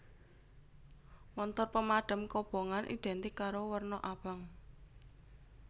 Montor pemadam kobongan identik karo werna abang